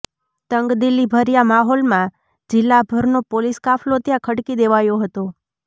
તંગદીલીભર્યા માહોલમાં જિલ્લાભરનો પોલીસ કાફલો ત્યાં ખડકી દેવાયો હતો